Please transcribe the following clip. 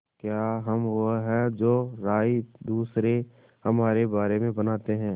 क्या हम वो हैं जो राय दूसरे हमारे बारे में बनाते हैं